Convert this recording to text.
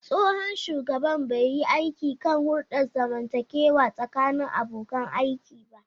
Tsohon shugaban bai yi aiki kan hulɗar zamantakewa tsakanin abokan aiki ba.